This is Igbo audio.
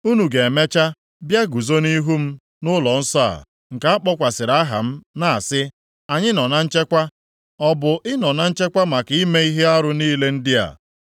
Unu ga-emecha bịa guzo nʼihu m nʼụlọnsọ a, nke a kpọkwasịrị aha m, na-asị, “Anyị nọ na nchekwa,” ọ bụ ịnọ na nchekwa maka ime ihe arụ niile ndị a?